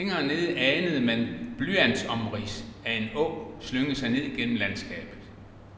Længere nede anede man blyantsomrids af en å slynge sig ned gennem landskabet.